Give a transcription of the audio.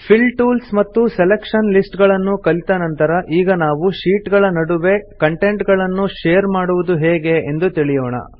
fill tools ಮತ್ತು selection listsಗಳನ್ನು ಕಲಿತ ನಂತರ ನಾವು ಈಗ ಶೀಟ್ ಗಳ ನಡುವೆ ಕಂಟೆಂಟ್ ಗಳನ್ನು ಶೇರ್ ಮಾಡುವುದು ಹೇಗೆ ಎಂದು ತಿಳಿಯೋಣ